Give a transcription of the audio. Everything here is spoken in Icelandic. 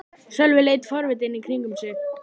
Sölvi leit forvitinn í kringum sig.